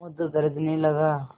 समुद्र गरजने लगा